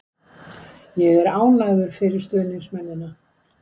Ég er ánægður fyrir stuðningsmennina.